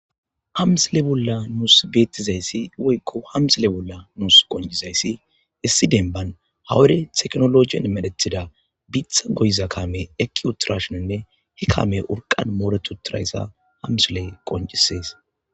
hamsile bolla nuus beettizayssi woykko hamsile bolla nuus qonjizayssi issi denban hawure teknologien medethida bitha goyza kame ekiuturashoninne hi kame urqan mooretuturayssa hamsile qonjisees